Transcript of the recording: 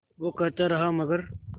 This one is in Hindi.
वो कहता रहा मगर